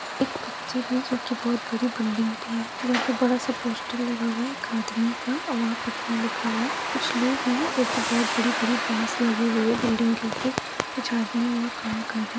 एक पिक्चर है जो कि बहुत बड़ी बिल्डिंग भी है जहां पे बड़ा-सा पोस्टर लगा हुआ है एक आदमी का और वहां पटना लिखा हुआ है कुछ लोग है जो कि बहुत बड़ी-बड़ी बांस लगी हुई है बिल्डिंग के ऊपर कुछ आदमी वहां काम कर रहे है।